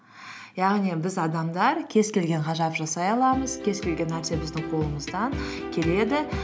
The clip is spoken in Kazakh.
яғни біз адамдар кез келген ғажап жасай аламыз кез келген нәрсе біздің қолымыздан келеді